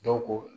Dɔw ko